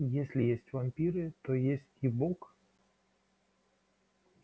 если есть вампиры то есть и бог